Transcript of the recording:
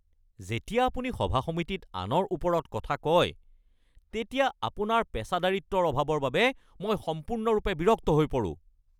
যেতিয়া আপুনি সভা-সমিতিত আনৰ ওপৰত কথা কয় তেতিয়া আপোনাৰ পেচাদাৰিত্বৰ অভাৱৰ বাবে মই সম্পূৰ্ণৰূপে বিৰক্ত হৈ পৰোঁ।